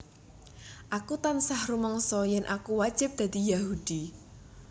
Aku tansah rumangsa yen aku wajib dadi Yahudi